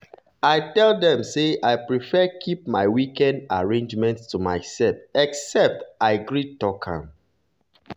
i tell dem say i prefer keep my weekend arrangement to myself except i gree talk am.